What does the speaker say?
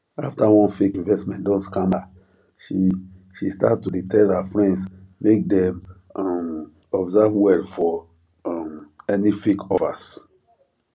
after one fake investment don scam her she she start to dey tell her friends make dem um observe well for um any fake offers